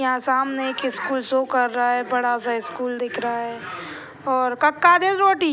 यहां सामने एक स्कूल सो कर रहा है बड़ा-सा स्कूल दिख रहा है और